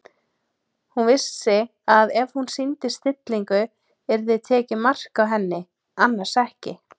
Hún vissi að ef hún sýndi stillingu yrði tekið mark á henni- annars ekki.